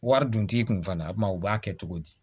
Wari dun t'i kun fana a kuma u b'a kɛ cogo di